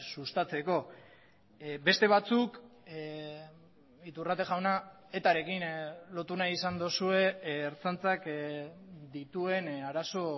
sustatzeko beste batzuk iturrate jauna etarekin lotu nahi izan duzue ertzaintzak dituen arazo